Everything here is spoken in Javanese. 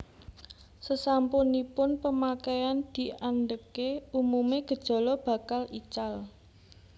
Sesampunipun pemakaian diandeke umume gejala bakal ical